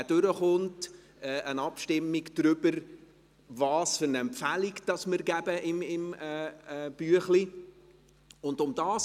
Wenn dieser durchkommt, müssten wir eine Abstimmung darüber machen, welche Empfehlung wir im Abstimmungsbüchlein abgeben.